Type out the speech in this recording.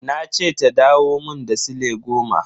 Na ce ta dawo mun da sile goma na.